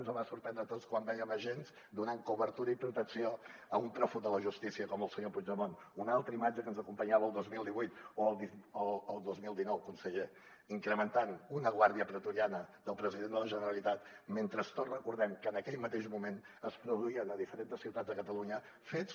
ens va sorprendre a tots quan vèiem agents donant cobertura i protecció a un pròfug de la justícia com el senyor puigdemont una altra imatge que ens acompanyava el dos mil divuit o el dos mil dinou conseller incrementant una guàrdia pretoriana del president de la generalitat mentre tots recordem que en aquell mateix moment es produïen a diferents ciutats de catalunya fets